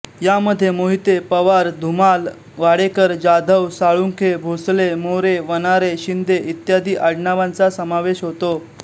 यामध्ये मोहिते पवार धुमाल वाडेकर जाधव साळुंखे भोसले मोरे वनारे शिंदे इत्यदि आङनावानचा समावेश होतो